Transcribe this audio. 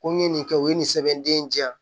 Ko n ye nin kɛ u ye nin sɛbɛn den in di yan